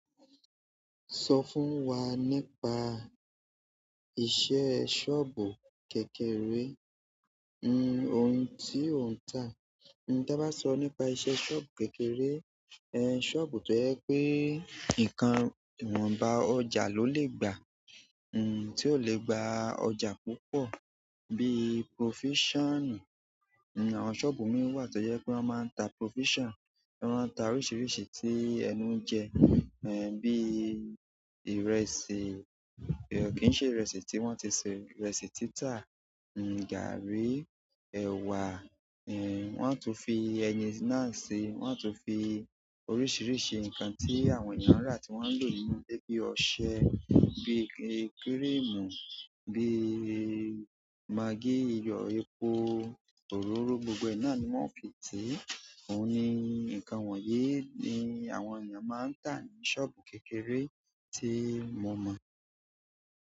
Sọ fún wa nípa iṣẹ́ sọ́ọ̀bù kékeré. Ohun tí ó ń tà. Tabá sọ nípa iṣẹ́ sọ́ọ̀bù kékeré, ẹ̀ sọ́ọ̀bù tó jẹ́ pé nǹkan iwọ́n bá ọjà ló lè gbà. Ti o le gba ọjà púpọ̀ bi provision. Àwọn sọ́ọ̀bù mìí wà tó jẹ́ pé wọ́n máa ń ta provision. Wọ́n máa ń ta oríṣiríṣi tí ẹnu ń jẹ bí ìrẹsì, kì í ṣe ìrẹsì tí wọ́n ti se ìrẹsì títa, gari, ẹwà wọ́n á tún fi ẹyin náà ṣi. Wọ́n á tún fi oríṣiríṣi nǹkan tí àwọn ènìyàn rà tí wọ́n lò nínú le bíi ọṣẹ, bíi kírìmù, bíi maggi, iyọ̀, epo, òróró, gbogbo ẹ náà ni wọ́n fi ti. Óun ní nǹkan wọ̀nyí ni àwọn ènìyàn máa ń tà ní sọ́ọ̀bù kékeré tí mo mọ̀.